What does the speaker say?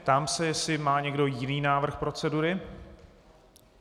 Ptám se, jestli má někdo jiný návrh procedury.